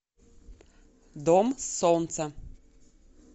дом солнца